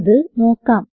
അത് നോക്കാം